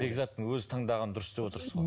бекзаттың өзі таңдағаны дұрыс деп отырсыз ғой